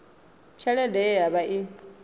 tshelede ye ya vha i